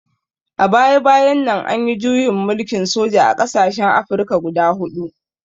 A baya-bayan nan an yi juyin mulkin soja a ƙasashen Afirka guda huɗu.